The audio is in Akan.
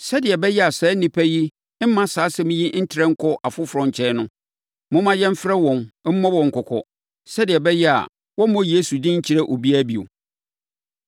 Sɛdeɛ ɛbɛyɛ a saa nnipa yi remma saa asɛm yi ntrɛ nkɔ afoforɔ nkyɛn no, momma yɛmfrɛ wɔn, mmɔ wɔn kɔkɔ, sɛdeɛ ɛbɛyɛ a wɔremmɔ Yesu din nkyerɛ obiara bio.”